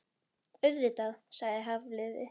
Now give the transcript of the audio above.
Auðvitað- sagði Hafliði.